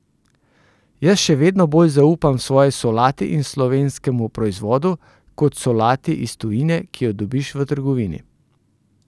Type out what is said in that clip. Jaz še vedno bolj zaupam svoji solati in slovenskemu proizvodu, kot solati iz tujine, ki jo dobiš v trgovini!